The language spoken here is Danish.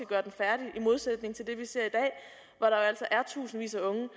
gøre den færdig i modsætning til det vi ser i tusindvis af unge